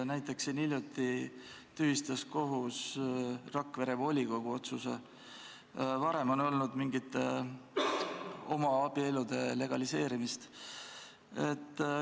Näiteks tühistas kohus hiljuti Rakvere volikogu otsuse ja varem on olnud mingite homoabielude legaliseerimist.